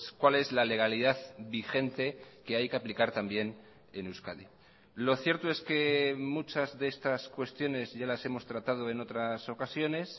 cuál es la legalidad vigente que hay que aplicar también en euskadi lo cierto es que muchas de estas cuestiones ya las hemos tratado en otras ocasiones